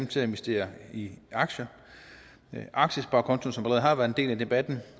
til at investere i aktier aktiesparekontoen har allerede været en del af debatten